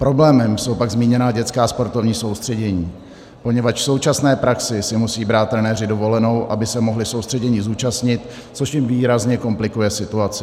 Problémem jsou pak zmíněná dětská sportovní soustředění, poněvadž v současné praxi si musí brát trenéři dovolenou, aby se mohli soustředění zúčastnit, což jim výrazně komplikuje situaci.